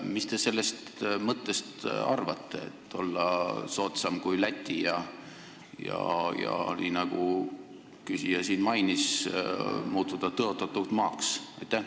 Mis te sellest mõttest arvate, et võiksime olla soodsam riik kui Läti ja muutuda, nagu üks küsija mainis, tõotatud maaks?